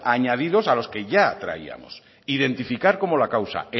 añadidos a los que ya traíamos identificar como la causa